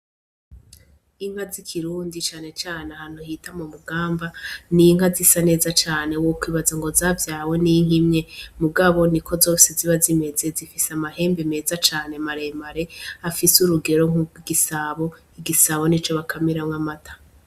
Inka zikirundi canecane hantu hita mu mugamba ninka zisa neza cane wo kwibaza ngo zavyawe n'inka imwe mu gaboni ko zose ziba zimeze zifise amahembe meza cane maremare afise urugero nku gisabo igisabo ni co bakamiramwo amata.